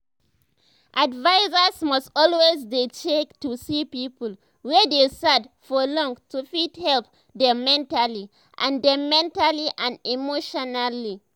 advisers must always dey check to see people wey dey sad for long to fit help dem mentally and dem mentally and emotionally